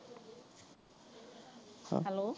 Hello